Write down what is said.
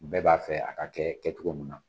Bɛɛ b'a fɛ a ka kɛ kɛcogo min na.